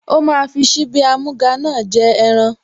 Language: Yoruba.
Ó máa fi síbí amúga náà jẹ ẹran